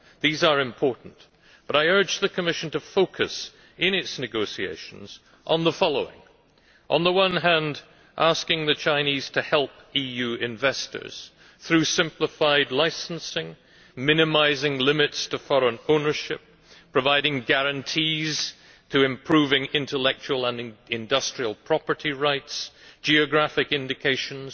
These are important, but I urge the Commission to focus in its negotiations on the following on the one hand on asking the Chinese to help EU investors through simplified licensing, minimising limits to foreign ownership, providing guarantees to improving intellectual and industrial property rights and geographic indications,